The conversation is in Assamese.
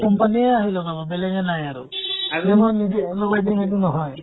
company য়ে আহি লগাব, বেলেগে নাহে আৰু । আৰু মই নিজে লগাই দিম সেইটো নহয় ।